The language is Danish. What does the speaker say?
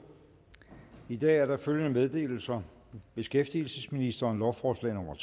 i dag er der følgende meddelelser beskæftigelsesministeren lovforslag nummer